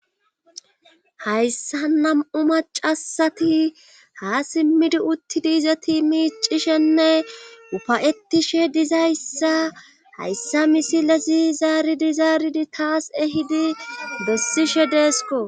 hayssa nam7u macasati ha simmidi uttidiiza tiimiiccishenne ufayettishe dizayssa hayssa misilasi zaaridi zaaridi taas ehidi bessishe deesko